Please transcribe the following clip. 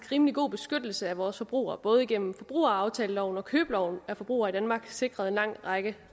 rimelig god beskyttelse af vores forbrugere både igennem forbrugeraftaleloven og købeloven er forbrugere i danmark sikret en lang række